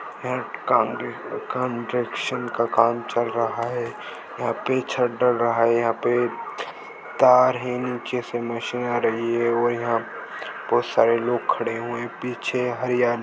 construction का काम चल रहा है यहाँ पे छत डल रहा है यहाँ पे तार है नीचे से मशीन आ रही है और यहाँ पे बहूत सारे लोग खडे हुए है पीछे हरयाली --